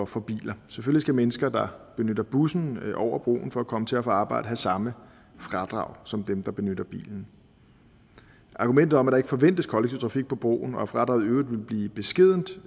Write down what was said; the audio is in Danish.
for biler selvfølgelig skal mennesker der benytter bussen over broen for at komme til og fra arbejde have samme fradrag som dem der benytter bilen argumentet om at der ikke forventes kollektiv trafik på broen og at fradraget i øvrigt ville blive beskedent